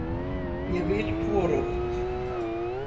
Ég vil hvorugt.